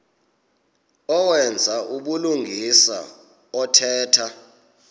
owenza ubulungisa othetha